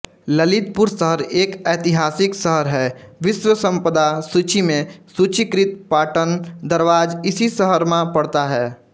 ललितपुर शहर एक एतिहासीक शहरहै बिश्वसंपदा सुचीमे सुचिकृत पाटन दरवार इसी शहरमा पडता है